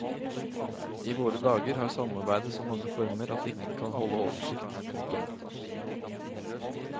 I våre dager har samarbeidet så mange former at ingen kan holde oversikt. punktum